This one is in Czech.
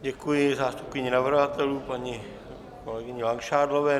Děkuji zástupkyni navrhovatelů paní kolegyni Langšádlové.